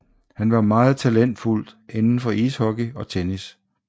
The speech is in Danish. Han var meget talentfuld inden for ishockey og tennis